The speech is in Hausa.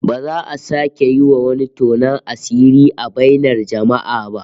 Ba za a sake yi wa wani tonon asiri a bainar jama'a ba